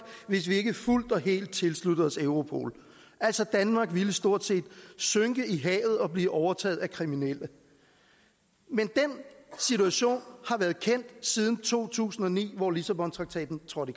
hvis vi ikke fuldt og helt tilslutter os europol danmark vil stort set synke i havet og blive overtaget af kriminelle men den situation har været kendt siden to tusind og ni hvor lissabontraktaten trådte